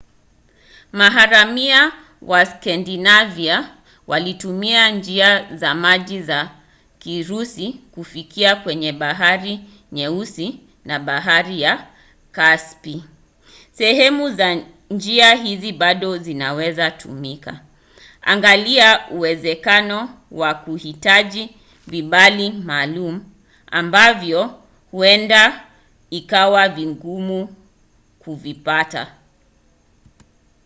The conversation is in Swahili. maharamia wa skandinavia walitumia njia za majini za kirusi kufika kwenye bahari nyeusi na bahari ya kaspi. sehemu za njia hizo bado zinaweza kutumika. angalia uwezekano wa kuhitaji vibali maalum ambavyo huenda ikawa vigumu kuvipata